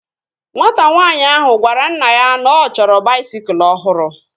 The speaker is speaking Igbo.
Nwata nwaanyị ahụ gwara mma ya na ọ chọrọ baisikụl ọhụrụ